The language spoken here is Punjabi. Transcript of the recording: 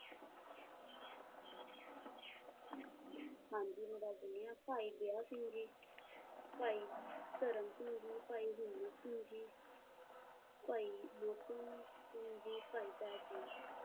ਹਾਂਜੀ ਮੈਂ ਦੱਸ ਦੇਣੀ ਆ ਭਾਈ ਦਇਆ ਸਿੰਘ ਜੀ, ਭਾਈ ਧਰਮ ਸਿੰਘ ਜੀ, ਭਾਈ ਹਿੰਮਤ ਸਿੰਘ ਜੀ, ਭਾਈ ਮੋਹਕਮ ਸਿੰਘ ਜੀ ਭਾਈ ਸਾਹਿਬ ਸਿੰਘ ਜੀ,